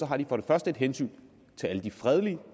har de for det første et hensyn til alle de fredelige